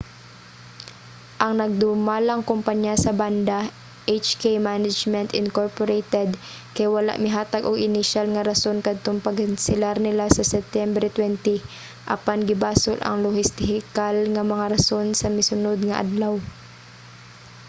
ang nagdumalang kompanya sa banda hk management inc. kay wala mihatag og inisyal nga rason katong pagkanselar nila sa septyembre 20 apan gibasol ang lohistikal nga mga rason sa misunod nga adlaw